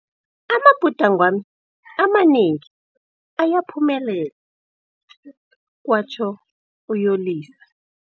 Amabhudangwami amanengi ayaphumelela, kwatjho uYolisa.